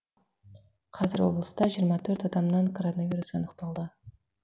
қазір облыста жиырма төрт адамнан коронавирус анықталды